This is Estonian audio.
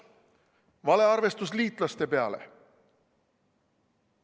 Valearvestus lootes liitlaste peale.